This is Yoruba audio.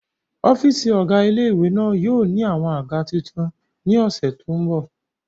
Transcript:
Ọ́fìsì ọ̀gá ilé-ìwé náà yóò ní àwọn àga tuntun ní ọ̀sẹ̀ tó n bọ̀